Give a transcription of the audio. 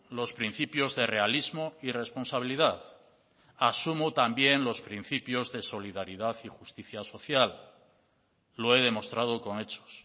los principios de realismo y responsabilidad asumo también los principios de solidaridad y justicia social lo he demostrado con hechos